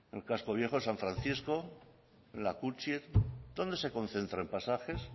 en casco viejo en san francisco en la dónde se concentra en pasajes